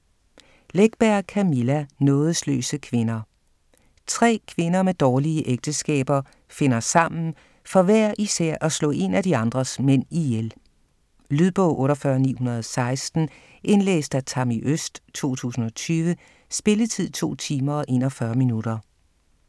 Läckberg, Camilla: Nådesløse kvinder Tre kvinder med dårlige ægteskaber finder sammen for hver især at slå en af de andres mænd ihjel. Lydbog 48916 Indlæst af Tammi Øst, 2020. Spilletid: 2 timer, 41 minutter.